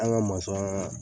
An ka ya